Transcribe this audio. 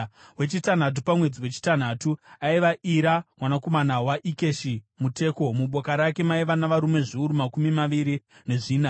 Wechitanhatu pamwedzi wechitanhatu, aiva Ira mwanakomana waIkeshi muTeko. Muboka rake maiva navarume zviuru makumi maviri nezvina.